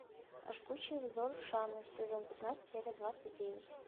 жгучий взор шаны сезон пятнадцать серия двадцать девять